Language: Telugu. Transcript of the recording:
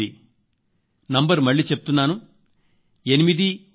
ఎనిమిది ఎనిమిది